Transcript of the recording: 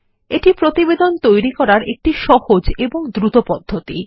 এটি প্রতিবেদন তৈরী করারএকটি সহজ এবং দ্রুত পদ্ধতি